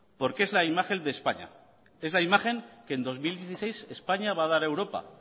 porque es la imagen de españa es la imagen que en dos mil dieciséis españa va a dar a europa